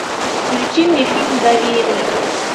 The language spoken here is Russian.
включи мне фильм доверие